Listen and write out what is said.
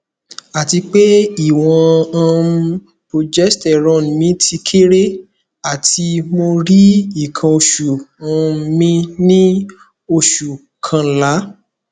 atipe iwon um progesterone mi ti kere ati mo ri ikan osu um mi ni osu kanla